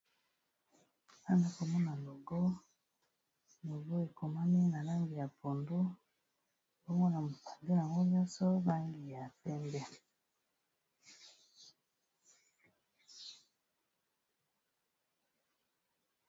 Awa nazomona logo, logo ekomami na langi ya pondu, bongo na katikati yango nyonso ba langi ya pembe.